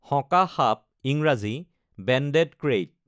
শঁকা সাপ ইংৰাজী banded krait